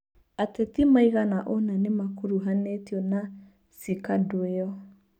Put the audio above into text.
Ateti maigana ũna nĩmakuruhanĩtio na cikandũio.